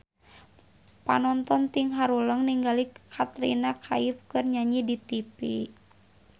Panonton ting haruleng ningali Katrina Kaif keur nyanyi di tipi